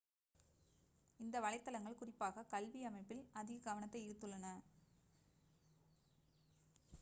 இந்த வலைத்தளங்கள் குறிப்பாக கல்வி அமைப்பில் அதிக கவனத்தை ஈர்த்துள்ளன